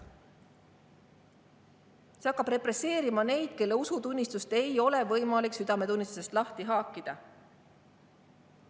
See hakkab represseerima neid, kelle usutunnistust ei ole võimalik südametunnistusest lahti haakida.